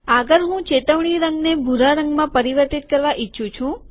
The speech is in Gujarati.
આગળ હું ચેતવણી રંગને ભૂરા રંગમાં પરિવર્તિત કરવા ઈચ્છું છું